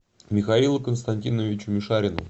михаилу константиновичу мишарину